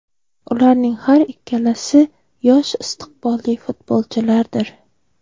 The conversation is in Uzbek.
Ularning har ikkalasi yosh istiqbolli futbolchilardir”.